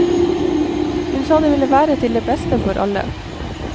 Hun sa det ville være til det beste for alle.